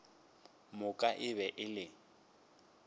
moka e be e le